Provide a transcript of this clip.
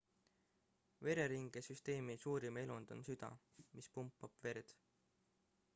vereringesüsteemi suurim elund on süda mis pumpab verd